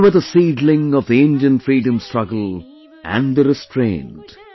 You are the seedling of the Indian Freedom Struggle and the restraint